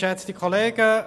der BaK.